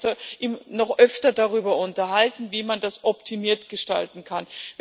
Und wir werden uns noch öfter darüber unterhalten, wie man das optimiert gestalten kann.